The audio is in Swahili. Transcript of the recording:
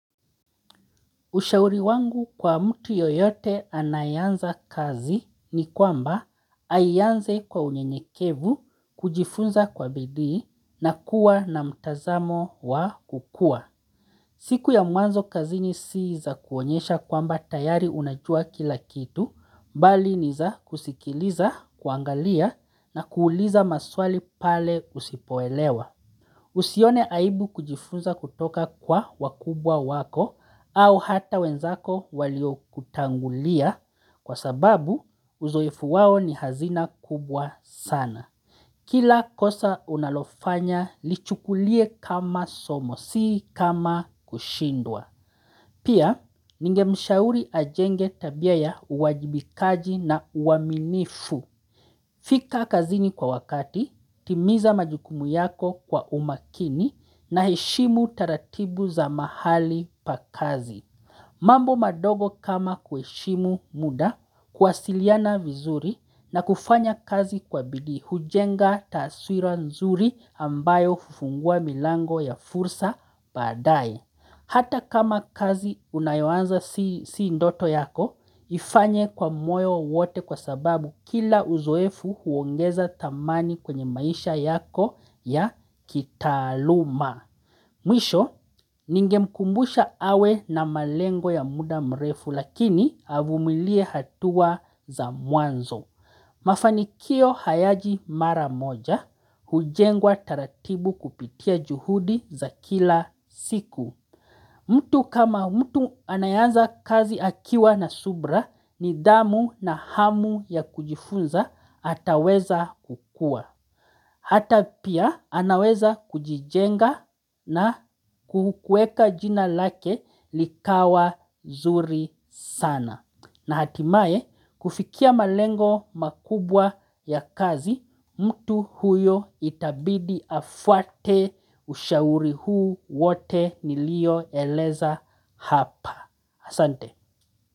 Ushauri wangu kwa mtu yoyote anayanza kazi ni kwamba ayianze kwa unyenyekevu kujifunza kwa bidii na kuwa na mtazamo wa kukua. Siku ya muanzo kazi ni siiza kuonyesha kwamba tayari unajua kila kitu, bali niza kusikiliza, kuangalia na kuuliza maswali pale usipoelewa. Usione aibu kujifunza kutoka kwa wakubwa wako au hata wenzako walio kutangulia kwa sababu uzoefu wao ni hazina kubwa sana. Kila kosa unalofanya lichukulie kama somo si kama kushindwa. Pia ningemshauri ajenge tabia ya uwajibikaji na uaminifu. Fika kazini kwa wakati, timiza majukumu yako kwa umakini na heshimu taratibu za mahali pa kazi. Mambo madogo kama kueshimu muda, kwasiliana vizuri na kufanya kazi kwa bidii hujenga taaswira nzuri ambayo fufungua milango ya fursa badai. Hata kama kazi unayuanza si ndoto yako, ifanye kwa moyo wote kwa sababu kila uzoefu huongeza dhamani kwenye maisha yako ya kitaluma. Mwisho, ninge mkumbusha awe na malengo ya muda mrefu lakini avumilie hatua za muanzo. Mafanikio hayaji mara moja, hujengwa taratibu kupitia juhudi za kila siku. Mtu kama mtu anayeanza kazi akiwa na subra nidhamu na hamu ya kujifunza ataweza kukua. Hata pia anaweza kujijenga na kueka jina lake likawa zuri sana. Na hatimaye kufikia malengo makubwa ya kazi, mtu huyo itabidi afwate ushauri huu wote niliyo eleza hapa. Asante.